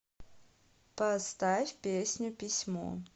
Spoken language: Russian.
поставь песню письмо